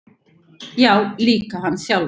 Já, líka hann sjálfan.